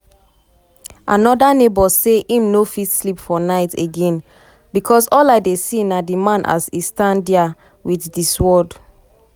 another neighbour say im no fit sleep for night again "becos all i dey see na di man as e stand dia wit di sword".